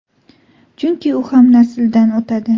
Chunki u ham nasldan o‘tadi.